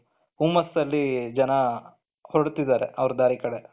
ಹುಮ್ಮಸ್ ಅಲ್ಲಿ ಜನ ಹೊರಡುತ್ತಿದ್ದಾರೆ ಅವರ ದಾರಿ ಕಡೆಗೆ.